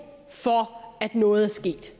for at noget er sket